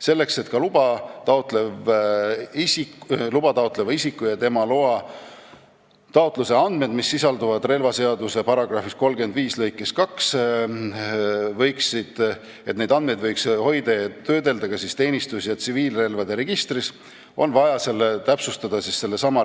Selleks et luba taotleva isiku ja tema loataotluse andmeid, mis sisalduvad relvaseaduse § 35 lõikes 2, võiks hoida ja töödelda ka teenistus- ja tsiviilrelvade registris, on vaja täpsustada sellesama